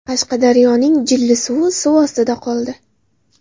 Qashqadaryoning Jillisuvi suv ostida qoldi .